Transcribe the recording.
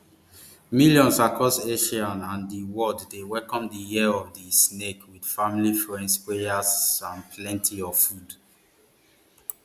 millions across asia and di world dey welcome di year of di snake wit family friends prayers and plenty of food